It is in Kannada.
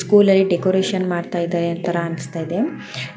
ಸ್ಕೂಲ್ನಲ್ಲಿ ಡೆಕೋರೇಷನ್ ಮಾಡ್ತಾ ಇದಾರೆ ಅಂತರಾ ಅನ್ನಿಸ್ತಾ ಇದೆ.